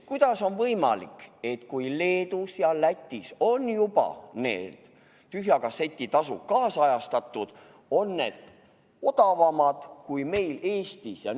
Kuidas on võimalik, et kui Leedus ja Lätis on juba need tühja kasseti tasud ajakohastatud, on neil seadmed odavamad kui meil Eestis?